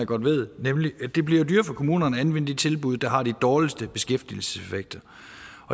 godt ved nemlig at det bliver dyrere for kommunerne at anvende de tilbud der har de dårligste beskæftigelseseffekter